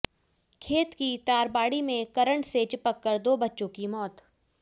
खेत की तारबाड़ी में करंट से चिपककर दो बच्चों की मौत